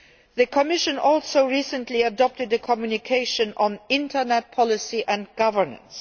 The Commission also recently adopted a communication on Internet policy and governance.